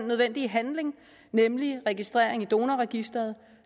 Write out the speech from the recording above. nødvendige handling nemlig registrering i donorregistret